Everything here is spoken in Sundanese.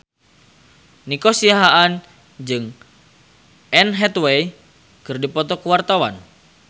Nico Siahaan jeung Anne Hathaway keur dipoto ku wartawan